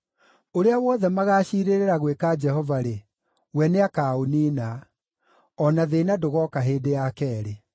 Ũrĩa wothe magaaciirĩra gwĩka Jehova-rĩ, we nĩakaũniina; o na thĩĩna ndũgooka hĩndĩ ya keerĩ.